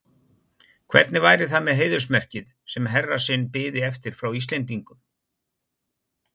Hvernig væri það með heiðursmerkið, sem herra sinn biði eftir frá Íslendingum?